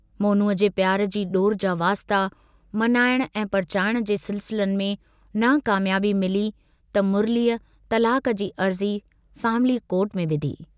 मोनूअ जे प्यार जी डोर जा वास्ता, मनाइण ऐं परचाइण जे सिलसिलनि में नाकाम्याबी मिली त मुरलीअ तलाक जी अर्जी फैमिली कोर्ट में विधी।